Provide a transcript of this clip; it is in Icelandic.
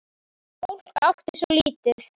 Fólk átti svo lítið.